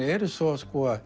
eru svo